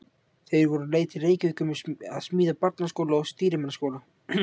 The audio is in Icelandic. Þeir voru á leið til Reykjavíkur að smíða barnaskóla og stýrimannaskóla.